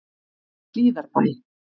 Hlíðarbæ